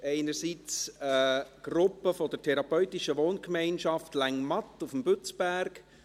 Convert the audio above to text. Einerseits ist es eine Gruppe der therapeutischen Wohngemeinschaft Längmatt auf dem Bützberg.